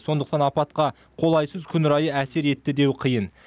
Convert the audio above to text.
сондықтан апатқа қолайсыз күн райы әсер етті деу қиын